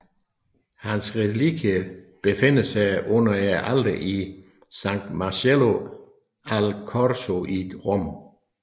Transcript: Hans relikvier befinder sig under alteret i San Marcello al Corso i Rom